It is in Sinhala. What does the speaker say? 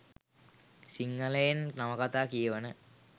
සිංහලයෙන් නවකතා කියවන